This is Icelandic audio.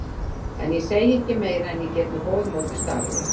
En ég segi ekki meira en ég get með góðu móti staðið við.